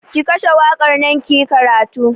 Ki kashe waƙar nan kiyi karatu!